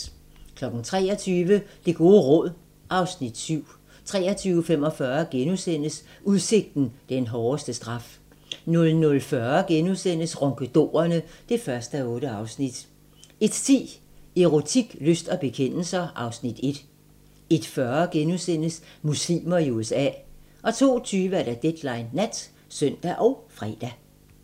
23:00: Det gode råd (Afs. 7) 23:45: Udsigten - den hårdeste straf * 00:40: Ronkedorerne (1:8)* 01:10: Erotik, lyst og bekendelser (Afs. 1) 01:40: Muslimer i USA * 02:20: Deadline Nat (søn og fre)